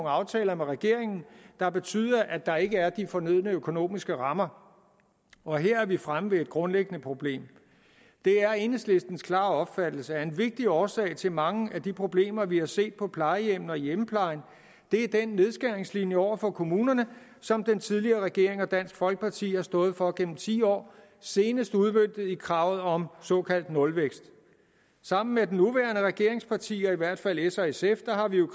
aftaler med regeringen der betyder at der ikke er de fornødne økonomiske rammer og her er vi fremme ved et grundlæggende problem det er enhedslistens klare opfattelse at en vigtig årsag til mange af de problemer vi har set på plejehjemmene og i hjemmeplejen er den nedskæringslinje over for kommunerne som den tidligere regering og dansk folkeparti har stået for gennem ti år senest udmøntet i kravet om såkaldt nulvækst sammen med de nuværende regeringspartier i hvert fald s og sf har vi